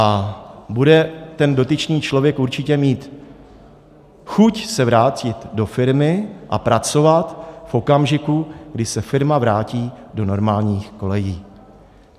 A bude ten dotyčný člověk určitě mít chuť se vrátit do firmy a pracovat v okamžiku, kdy se firma vrátí do normálních kolejí.